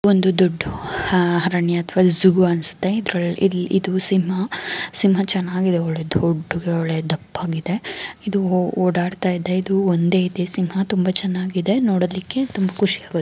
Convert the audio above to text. ಒಂದು ದೊಡ್ದು ಅರಣ್ಯ ಅನಿಸುತ್ತ್ತೆ ಇದು ಸಿಂಹ ಸಿಂಹ ಚೆನಾಗಿದೆ ದೊಡ್ದುಗೆ ಒಳ್ಳೆ ಇದು ದಪ್ಪಗಿದೆ ಒಡಾಡ್ತ ಇದೆ ಇದು ಒಂದೇ ಇದೆ ಸಿಂಹ ತುಂಬ ಚೆನ್ನಾಗಿದೆ ನೋಡಲಿಕ್ಕೆ ತುಂಬ ಖುಷಿ ಆಗು --